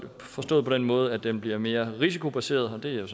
forstået på den måde at den bliver mere risikobaseret og det er jo